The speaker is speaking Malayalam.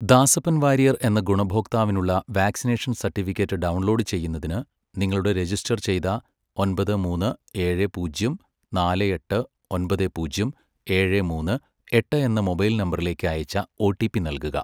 ദാസപ്പൻ വാര്യർ എന്ന ഗുണഭോക്താവിനുള്ള വാക്സിനേഷൻ സർട്ടിഫിക്കറ്റ് ഡൗൺലോഡ് ചെയ്യുന്നതിന്, നിങ്ങളുടെ രജിസ്റ്റർ ചെയ്ത ഒൻപത് മൂന്ന് ഏഴ് പൂജ്യം നാല് എട്ട് ഒൻപത് പൂജ്യം ഏഴ് മൂന്ന് എട്ട് എന്ന മൊബൈൽ നമ്പറിലേക്ക് അയച്ച ഒ ടി പി നൽകുക.